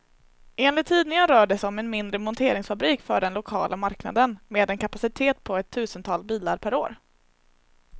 Enligt tidningen rör det sig om en mindre monteringsfabrik för den lokala marknaden, med en kapacitet på ett tusental bilar per år.